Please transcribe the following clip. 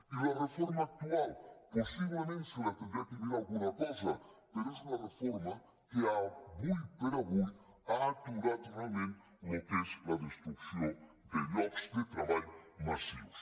i la reforma actual possiblement se n’hauria de mirar alguna cosa però és una reforma que ara per ara ha aturat realment el que és la destrucció de llocs de treball massius